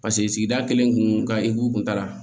Paseke sigida kelen kun ka e kun taara